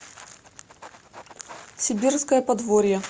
сибирское подворье